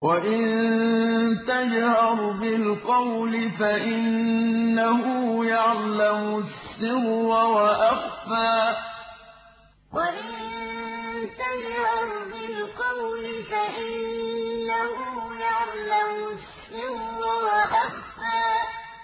وَإِن تَجْهَرْ بِالْقَوْلِ فَإِنَّهُ يَعْلَمُ السِّرَّ وَأَخْفَى وَإِن تَجْهَرْ بِالْقَوْلِ فَإِنَّهُ يَعْلَمُ السِّرَّ وَأَخْفَى